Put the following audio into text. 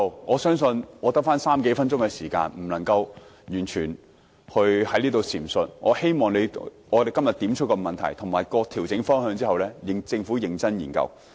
我相信在餘下的3至4分鐘發言時間，我不能完全闡述，但我希望今天點出問題和調整方向後，政府能認真研究。